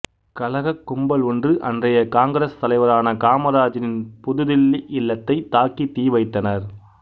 கலகக் கும்பல் ஒன்று அன்றைய காங்கிரஸ் தலைவரான காமராஜரின் புது தில்லி இல்லத்தைத் தாக்கி தீ வைத்தனர்